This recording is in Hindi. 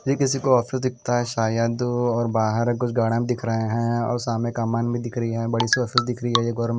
ये किसी को ऑफिस दिखता है शायद और बाहर कुछ दिख रहे हैं और सामने का भी दिख रही है बड़ी ह--